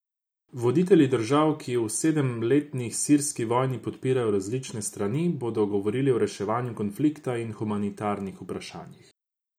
Voditelji držav, ki v sedemletni sirski vojni podpirajo različne strani, bodo govorili o reševanju konflikta in humanitarnih vprašanjih.